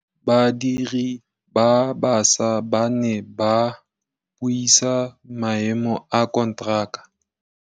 Badiri ba baša ba ne ba buisa maêmô a konteraka.